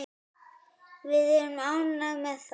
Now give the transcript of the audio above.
Við erum ánægð með það.